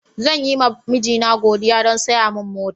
Zan yi ma mijina godiya don saya min mota.